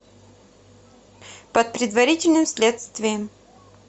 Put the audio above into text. под предварительным следствием